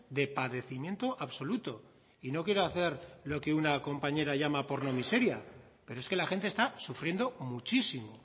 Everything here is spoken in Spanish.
de padecimiento absoluto y no quiero hacer lo que una compañera llama porno miseria pero es que la gente está sufriendo muchísimo